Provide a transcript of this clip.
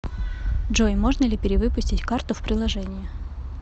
джой можно ли перевыпустить карту в приложении